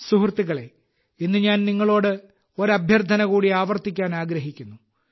സുഹൃത്തുക്കളേ ഇന്ന് ഞാൻ നിങ്ങളോട് ഒരു അഭ്യർത്ഥന കൂടി ആവർത്തിക്കാൻ ആഗ്രഹിക്കുന്നു